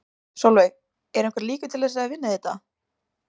Sólveig: Eru einhverjar líkur til þess að þið vinnið þetta?